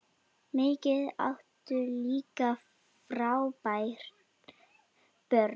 Mikið áttu líka frábær börn.